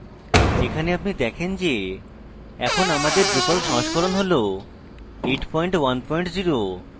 এখানে আপনি দেখেন যে এখন আমাদের drupal সংস্করণ হল 810